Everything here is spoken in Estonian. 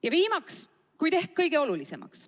Ja viimaseks ehk kõige olulisemast.